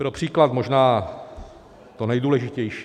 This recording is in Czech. Pro příklad možná to nejdůležitější.